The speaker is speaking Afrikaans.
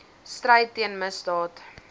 stryd teen misdaad